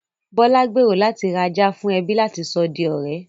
Bọ́lá gbèrò láti ra ajá fún ẹbí láti sọ di ọ̀rẹ́